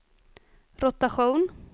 rotation